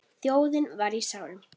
Þjóðin var í sárum.